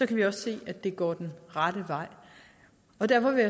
kan vi også se at det går den rette vej og derfor vil